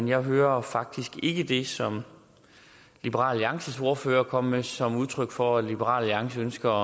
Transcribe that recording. jeg hører faktisk ikke det som liberal alliances ordfører kom med som udtryk for at liberal alliance ønsker